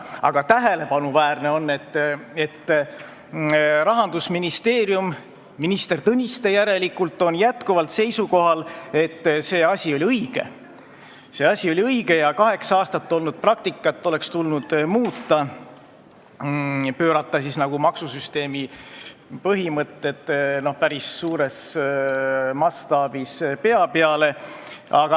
Aga tähelepanuväärne on, et Rahandusministeerium, minister Tõniste järelikult, on jätkuvalt seisukohal, et see asi oli õige ja kaheksa-aastast praktikat oleks tulnud muuta, pöörata maksusüsteemi põhimõtted päris suures mastaabis pea peale.